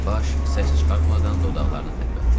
Baş səs çıxartmadan dodaqlarını tərpətdi.